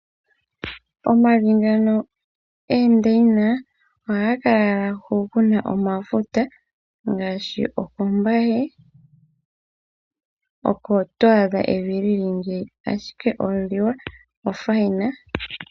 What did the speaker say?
Omavi ngano goondaina ohaga kala owala komahala hoka ku na omafuta ngaashi kombaye oko to adha evi li li ngiika, ashike omawanawa